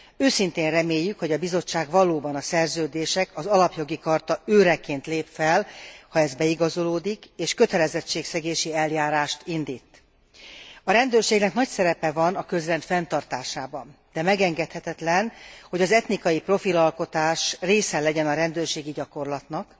Őszintén reméljük, hogy a Bizottság valóban a szerződések, az Alapjogi Charta őreként lép fel, ha ez beigazolódik és kötelezettségszegési eljárást indít. A rendőrségnek nagy szerepe van a közrend fenntartásában, de megengedhetetlen, hogy az etnikai profilalkotás része legyen a rendőrségi gyakorlatnak.